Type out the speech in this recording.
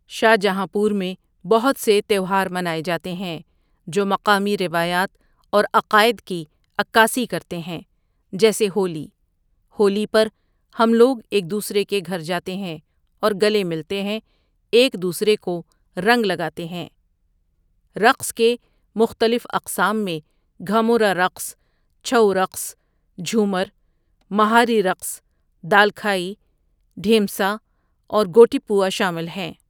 شاہ جہاں پور میں بہت سے تیوہار منائے جاتے ہیں جو مقامی روایات اور عقائد كی عكاسی کرتے ہیں جیسے ہولی ہولی پر ہم لوگ ایک دوسرے کے گھر جاتے ہیں اور گلے ملتے ہیں ایک دوسرے کو رنگ لگاتے ہیں رقص کے مختلف اقسام میں گھمورا رقص، چھؤ رقص، جھومر، مہاری رقص، دالکھائی، ڈھیمسہ اور گوٹی پوا شامل ہیں۔